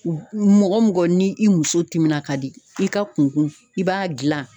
Mɔgɔ mɔgɔ ni i muso timina ka di i ka kun kun i b'a gilan